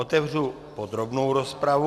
Otevřu podrobnou rozpravu.